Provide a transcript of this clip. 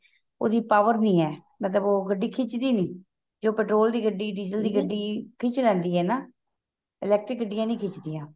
ਉਹਦੀ power ਨਹੀਂ ਹੈ ਮਤਲਬ ਉਹ ਗੱਡੀ ਖਿੱਚਦੀ ਦੀ ਨਹੀਂ ਜੋ petrol ਦੀ ਗੱਡੀ diesel ਦੀ ਗੱਡੀ ਖਿੱਚ ਲੈਂਦੀ ਏ ਨਾ electric ਗੱਡੀਆਂ ਨਹੀਂ ਖਿੱਚਦੀਆਂ